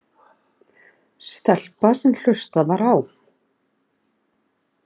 Stelpa sem hlustað var á.